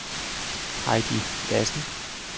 Heidi Lassen